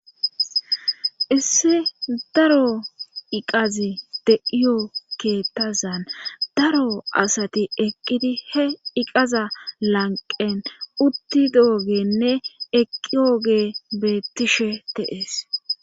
issi daro iqazi de7iyo keettazan daro asati eqqidi he iqaza lanqen utti doogenne eqqioge beettishe te7ees